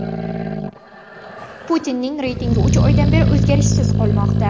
Putinning reytingi uch oydan beri o‘zgarishsiz qolmoqda.